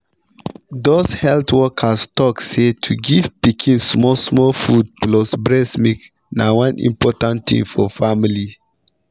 those health workers tok say to give pikin small small food plus breast milk na one important thing for family.